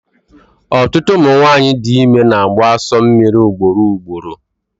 Ọtụtụ ụmụ nwanyị dị ime na-agbụ asọ mmiri ugboro ugboro